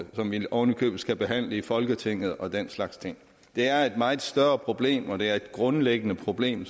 som vi oven i købet skal behandle i folketinget og den slags ting det er et meget større problem og det er et grundlæggende problem